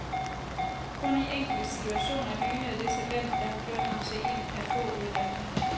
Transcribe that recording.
Kun i enkelte situationer lynede det talent, der har gjort ham til en af få udvalgte.